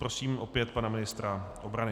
Prosím opět pana ministra obrany.